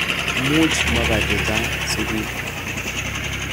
Much mapa chechang sukul.